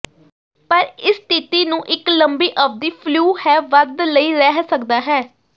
ਪਰ ਇਸ ਸਥਿਤੀ ਨੂੰ ਇੱਕ ਲੰਬੀ ਅਵਧੀ ਫਲੂ ਹੈ ਵੱਧ ਲਈ ਰਹਿ ਸਕਦਾ ਹੈ